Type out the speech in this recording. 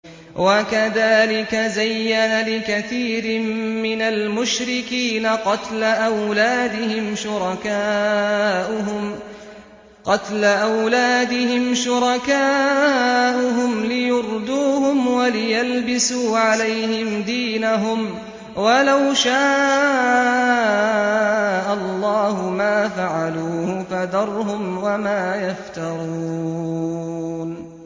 وَكَذَٰلِكَ زَيَّنَ لِكَثِيرٍ مِّنَ الْمُشْرِكِينَ قَتْلَ أَوْلَادِهِمْ شُرَكَاؤُهُمْ لِيُرْدُوهُمْ وَلِيَلْبِسُوا عَلَيْهِمْ دِينَهُمْ ۖ وَلَوْ شَاءَ اللَّهُ مَا فَعَلُوهُ ۖ فَذَرْهُمْ وَمَا يَفْتَرُونَ